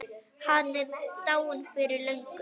Hann er dáinn fyrir löngu.